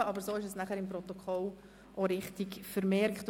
So wird das Ganze im Protokoll auch richtig dargestellt.